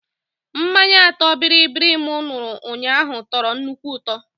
Mmanya ọtọ bịrịbịrị m ṅụrụ ụnyaahụ tọrọ nnukwu ụtọ